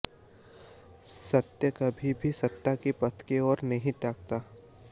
सत्य कभी भी सत्ता के पथ की ओर नहीं ताकता